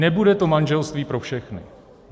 Nebude to manželství pro všechny!